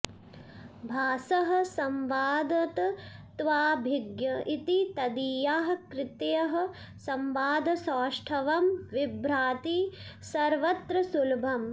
भासः संवादतत्त्वाभिज्ञ इति तदीयाः कृतयः संवादसौष्ठवं बिभ्रति सर्वत्र सुलभम्